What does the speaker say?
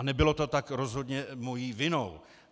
A nebylo to tak rozhodně mou vinou.